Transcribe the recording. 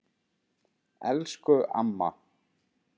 Elsku amma.